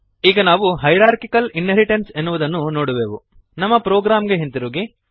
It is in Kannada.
ಈಗ ನಾವು ಹೈರಾರ್ಕಿಕಲ್ ಇನ್ಹೆರಿಟೆನ್ಸ್ ಎನ್ನುವುದನ್ನು ನೋಡುವೆವು ನಮ್ಮ ಪ್ರೊಗ್ರಾಂಗೆ ಹಿಂದಿರುಗಿರಿ